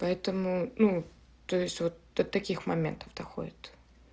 поэтому ну то есть вот до таких моментов доходит